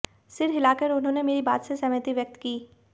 सिर हिला कर उन्होंने मेरी बात से सहमति व्यक्त की